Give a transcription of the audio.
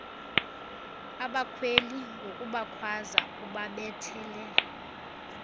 abakhweli ngokubakhwaza ubabethele